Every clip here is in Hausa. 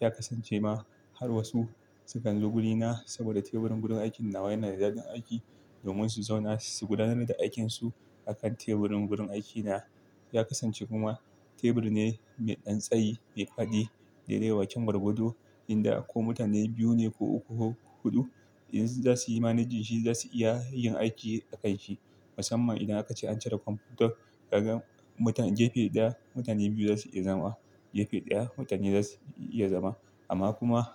Ya kasance ma har wasu su ganzo guri na saboda teburin gurin aikin nawa yana da ɗaɗin aiki domin su zauna su gudanar da aikinsu a kan teburin wurin aikina. Ya kasance kuma teburi ne mai ɗan tsayi, mai faɗi daidai bakin gargado yanda ko mutane biyu ne ko uku ko huɗu idan za su yi managen shi za su iya yin aiki a kai shi. Musamman idan aka ce an cire kwamfutar kaga mutum-- gefe ɗaya mutane biyu za su iya zama, gefe ɗaya mutane za su iya zama. Amma kuma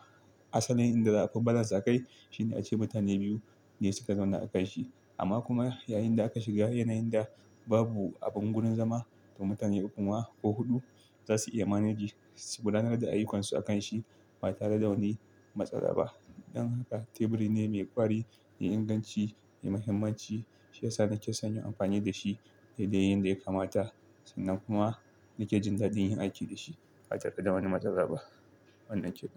asalin inda aka fi balas a kai shine ace mutane biyu ne suka zauna a kan shi. Amma kuma yayin da aka shiga yanayin da babu abin gurin zama to mutane uku ma ko huɗu za su iya manage, su gudanar da ayyukansu a kan shi ba tare da wani matsala ba. Dan haka teburi ne mai ƙwari, mai inganci, mai muhimmanci shi yasa na ke son yi amfani da shi daidai yanda ya kamata. Sannan kuma nake jin daɗin yin aiki da shi ba tare da wani matsala ba. Wannan ke nan.